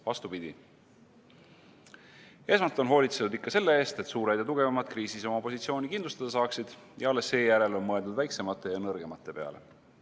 Vastupidi, esmalt on hoolitsetud ikka selle eest, et suured ja tugevamad kriisis oma positsiooni kindlustada saaksid ja alles seejärel on mõeldud väiksemate ja nõrgemate peale.